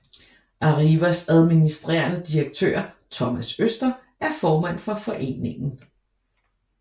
Arrivas administrerende direktør Thomas Øster er formand for foreningen